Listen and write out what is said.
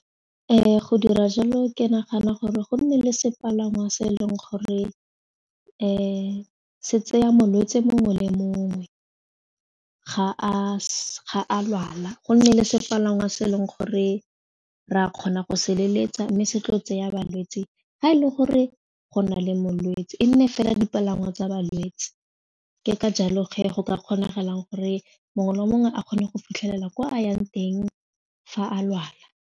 Go dira jalo ke nagana gore go nne le sepalangwa se e leng gore se tseya molwetsi mongwe le mongwe ga a lwala, go nne le sepalangwa se e leng gore re a kgona go se leletsa mme se tlo tseya balwetsi ga e le gore go na le molwetsi e nne fela dipalangwa tsa balwetsi ke ka jalo ge go ka kgonang gore mongwe le mongwe a kgone go fitlhelela kwa a yang teng fa a lwala.